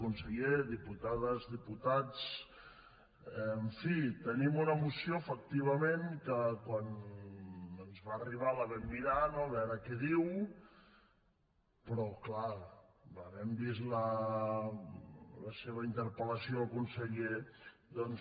conseller diputades diputats en fi tenim una moció efectivament que quan ens va arribar la vam mirar no a veure què diu però clar havent vist la seva interpel·lació al conseller doncs